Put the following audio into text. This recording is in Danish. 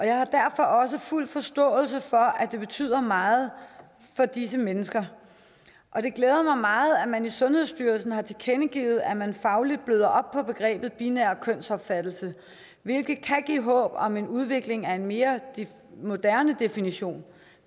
jeg har derfor også fuld forståelse for at det betyder meget for disse mennesker og det glæder mig meget at man i sundhedsstyrelsen har tilkendegivet at man fagligt bløder op på begrebet binær kønsopfattelse hvilket kan give håb om udvikling af en mere moderne definition